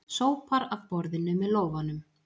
Sópar af borðinu með lófanum.